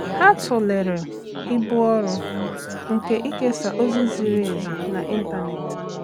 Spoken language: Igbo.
Há tụ́lèrè ibu ọ́rụ́ nke íkéésá ózị́ ziri ezi n’ị́ntánétị̀.